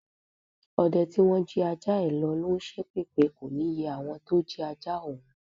Ọdẹ tí wọ́n jí ajá ẹ lọ̀ ló ń ṣépè pé kò ní yẹ àwọn tó jí ajá òun.